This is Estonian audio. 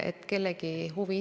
Aitäh asjakohase küsimuse eest!